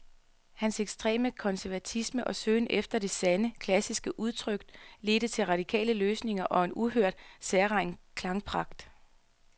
Hans ekstreme konservatisme og søgen efter det sande, klassiske udtryk ledte til radikale løsninger og en uhørt, særegen klangpragt.